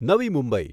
નવી મુંબઈ